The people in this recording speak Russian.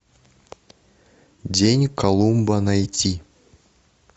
день колумба найти